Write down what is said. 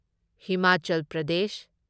Himachal Pradesh